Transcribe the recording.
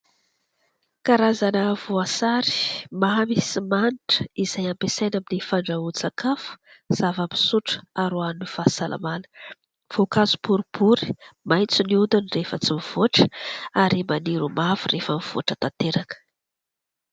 Karazana voasary mamy sy manitra izay ampiasaina amin'ny fandrahoan-tsakafo, zava-pisotro ary ho an'ny fahasalamana. Voankazo boribory, maitso ny hodiny rehefa tsy mivoatra ary maniry ho mavo rehefa mivoatra tanteraka.